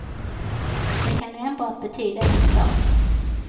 Det kan enbart betyda en sak.